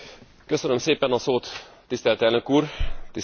Tisztelt Elnök Úr, Tisztelt Képviselőtársaim!